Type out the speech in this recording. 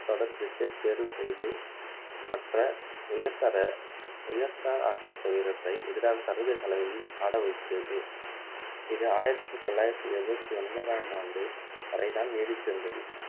தொடர் cricket தேர்வு செய்து மற்ற உயர்பத உயர்ந்த ஆட்டத்து வீரர்களை எதிராக சர்வதேச அளவில் ஆட வைத்தது இது ஆயிரத்து தொள்ளாயிரத்து எழுபத்து ஒன்பதாம் ஆண்டு வரைதான் நீடித்திருந்தது